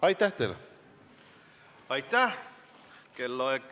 Aitäh!